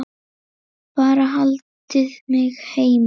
Bara haldið mig heima!